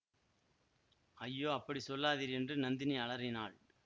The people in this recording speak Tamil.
ஐயோ அப்படி சொல்லாதீர் என்று நந்தினி அலறினாள்